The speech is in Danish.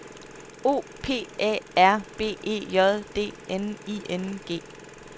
O P A R B E J D N I N G